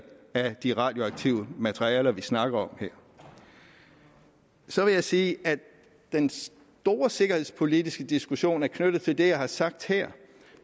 af de radioaktive materialer vi snakker om her så vil jeg sige at den store sikkerhedspolitiske diskussion er knyttet til det jeg har sagt her